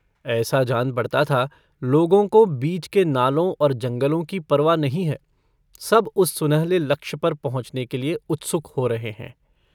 ऐसा जान पड़ता था लोगों को बीच के नालों और जंगलों की परवा नहीं है सब उस सुनहले लक्ष्य पर पहुँचने के लिए उत्सुक हो रहे हैं।